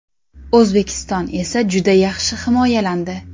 O‘zbekiston esa juda yaxshi himoyalandi.